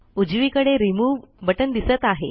उजवीकडे remove button दिसत आहे